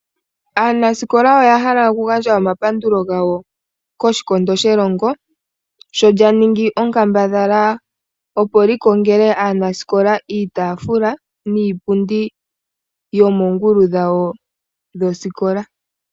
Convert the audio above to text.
Aanasikola oya hala okugandja omapandulo gawo koshikondo shelongo sho lyaningi onkambadhala opo likongele aanasikola iitaafula niipundi yomoongulu dhawo dhosikola.